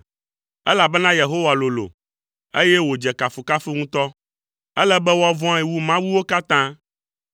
Elabena Yehowa lolo, eye wòdze kafukafu ŋutɔ; ele be woavɔ̃e wu mawuwo katã.